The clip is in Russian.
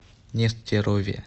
нестерове